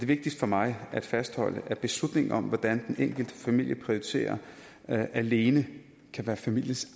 vigtigt for mig at fastholde at beslutningen om hvordan den enkelte familie prioriterer alene kan være familiens